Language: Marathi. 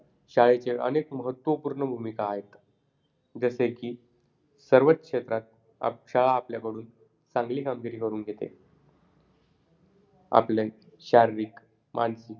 उत्तर चंद्रावरची शाळा एकविसाव्या शतकात भरेल चंद्रावरच्या शाळेत जाताना कशाचे वजन न्यावे चंद्रावरती जाताना oxygen चे ओझे न्यावे लागेल चंद्रावरील शाळेत कशाची कटकट राहणार नाही .